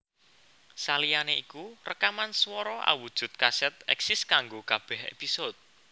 Saliyané iku rekaman swara awujud kasèt èksis kanggo kabèh épisode